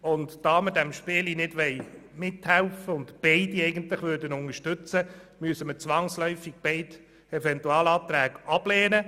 Da wir bei diesem Spielchen nicht mithelfen wollen und eigentlich beide Eventualanträge unterstützen würden, müssen wir zwangsläufig beide ablehnen.